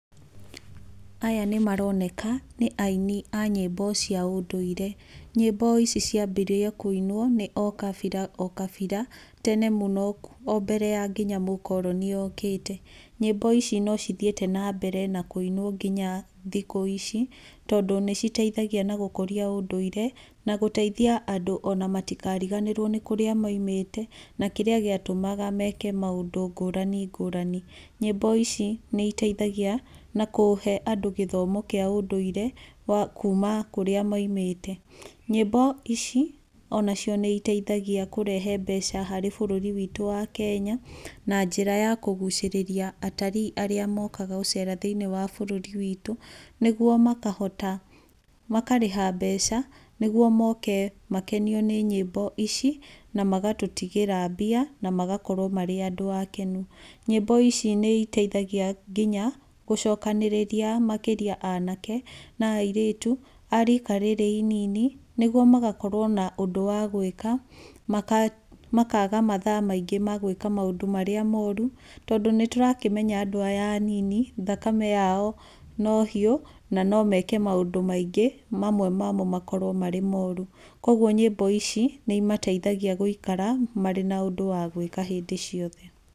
Aya nĩ maroneka nĩ aini a nyĩmbo cia ũndũire. Nyĩmbo ici ciambirie kũinwo nĩ o kabira o kabira tene mũno o mbere ya nginya mũkoroni okĩte. Nyĩmbo ici no cithiĩte na mbere na kũinwo nginya thikũ ici, tondũ nĩ citeithagia na gũkũria ũndũire na gũteithia andũ ona matikariganĩrwo nĩ kurĩa moimĩte, na kĩrĩa gĩatũmaga meke maũndũ ngũrani ngũrani. Nyĩmbo ici nĩ iteithagia na kũhe andũ gĩthomo kĩa ũndũire wa kuuma kũrĩa moimĩte. Nyĩmbo ici onacio nĩ iteithagia kũrehe mbeca harĩ bũrũri witũ wa Kenya, na njĩra ya kũgucĩrĩria atarii arĩa mokaga thĩiniĩ wa bũrũri witũ nĩguo makahota, makarĩha mbeca nĩguo moke makenio nĩ nyĩmbo ici, na magatũtigĩra mbia na magakorwo marĩ andũ akenu. Nyĩmbo ici nĩ iteithagia nginya gũcokanĩrĩria makĩria anake na airĩtu a rika rĩrĩ inini, nĩguo magakorwo na ũndũ wa gwĩka, makaga mathaa maingĩ ma gwĩka maũndũ marĩa mooru. Tondũ nĩ tũrakĩmenya andũ aya anini thakame yao no hiũ, na no meke maũndũ maingĩ, mamwe mamo makorwo marĩ moru. Koguo nyĩmbo ici, nĩ imateithagia gũikaara marĩ na ũndũ wa gwĩka hĩndĩ ciothe.